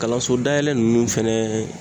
Kalanso dayɛlɛ nunnu fɛnɛ